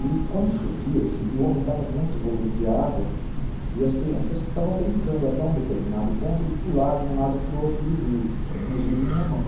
E quando chovia, esse rio aumentava muito o volume de água e as crianças ficavam brincando até um determinado ponto de pular de um lado para o outro do rio, inclusive minha mãe.